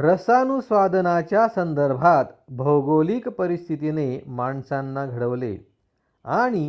रसानुस्वादनाच्या संदर्भात भौगोलिक परिस्थितीने माणसांना घडवले आणि